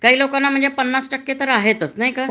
काही लोकांना म्हणजे पन्नास टक्के तर आहेत तस नाही का